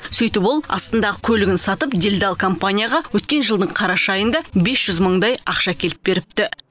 сөйтіп ол астындағы көлігін сатып делдал компанияға өткен жылдың қараша айында бес жүз мыңдай ақша әкеліп беріпті